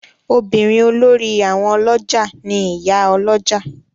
Obìnrin olórí àwọn olójà ni Ìyá Olójà.